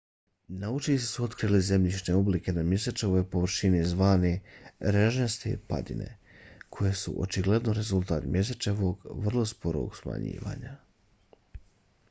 naučnici su otkrili zemljišne oblike na mjesečevoj površini zvane režnjaste padine koje su očigledno rezultat mjesečevog vrlo sporog smanjivanja